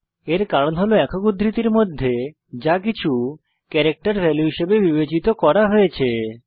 এর কারণ হল একক উদ্ধৃতির মধ্যে যাকিছু ক্যারেক্টার ভ্যালু হিসেবে বিবেচিত করা হয়েছে